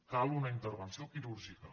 cal una intervenció quirúrgica